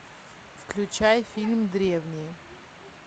включай фильм древние